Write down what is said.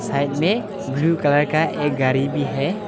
Side में blue colour का एक गाड़ी भी है।